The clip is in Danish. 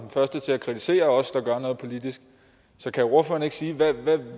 første til at kritisere os der gør noget politisk så kan ordføreren ikke sige noget om hvad